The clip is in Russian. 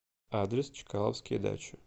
адрес чкаловские дачи